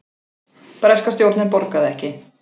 Breska stjórnin borgaði ekki